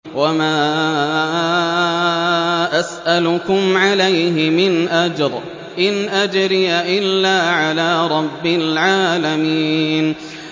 وَمَا أَسْأَلُكُمْ عَلَيْهِ مِنْ أَجْرٍ ۖ إِنْ أَجْرِيَ إِلَّا عَلَىٰ رَبِّ الْعَالَمِينَ